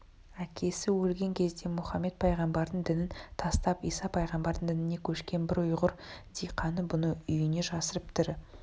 әкесі өлген кезде мұхаммед пайғамбардың дінін тастап иса пайғамбардың дініне көшкен бір ұйғыр диқаны бұны үйіне жасырып тірі